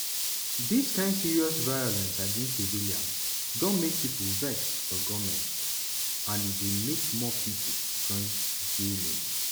dis kain serious violence against civilians don make pipo vex for goment and e dey make more pipo join jnim.